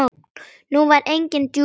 Nú var engin djúp rödd.